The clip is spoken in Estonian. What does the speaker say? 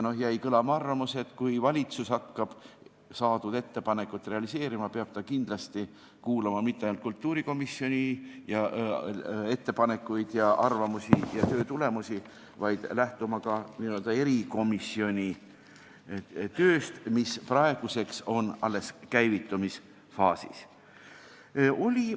Jäi kõlama arvamus, et kui valitsus hakkab saadud ettepanekut realiseerima, peab ta kindlasti kuulama mitte ainult kultuurikomisjoni ettepanekuid ja arvamusi ja töö tulemusi, vaid lähtuma ka n-ö erikomisjoni tööst, mis praeguseks on alles käivitumisfaasis.